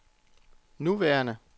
nuværende